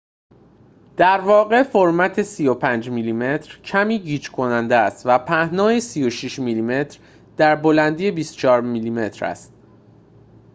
در واقع فرمت ۳۵ میلی متر کمی گیج‌کننده است و پهنای ۳۶ میلی‌متر در بلندی ۲۴ میلی‌متر است